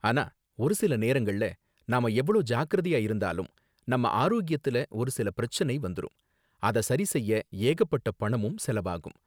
ஆனா ஒரு சில நேரங்கள்ல நாம எவ்ளோ ஜாக்கிரதையா இருந்தாலும் நம்ம ஆரோக்கியத்துல ஒரு சில பிரச்சனை வந்துரும், அத சரி செய்ய ஏகப்பட்ட பணமும் செலவாகும்